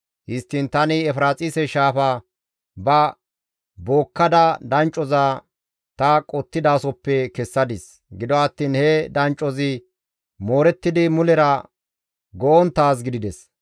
Histtiin tani Efiraaxise Shaafa ba bookkada danccoza ta qottidaasoppe kessadis; gido attiin he danccozi moorettidi mulera go7onttaaz gidides.